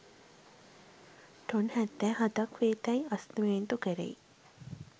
ton හැත්තෑ හතක් වෙතැයි ඇස්තමේන්තු කෙරෙයි